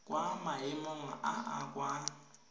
kwa maemong a a kwa